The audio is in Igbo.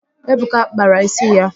Ebuka kpara ísí ya